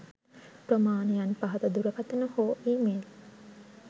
ප්‍රමාණයන් පහත දුරකථන හෝ ඊ මේල්